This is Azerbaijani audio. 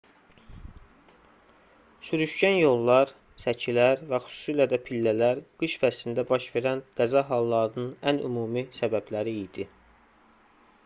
sürüşkən yollar səkilər küçənin kənarı və xüsusilə də pillələr qış fəslində baş verən qəza hallarının ən ümumi səbəbləri idi